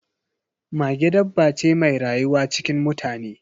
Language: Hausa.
Mage dabba ce mai rayuwa cikin mutane